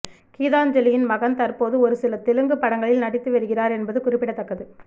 கீதாஞ்சலியின் மகன் தற்போது ஒருசில தெலுங்கு படங்களில் நடித்து வருகிறார் என்பது குறிப்பிடத்தக்கது